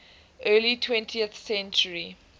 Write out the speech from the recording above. early twentieth century